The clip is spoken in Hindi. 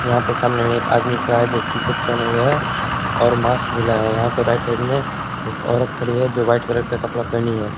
यहां पे सामने में एक आदमी खड़ा है जो टीशर्ट पहने हुए है और मास्क भी लगाया है यहां पे राइट साइड में एक औरत खड़ी है जो वाइट कलर का कपड़ा पहनी है।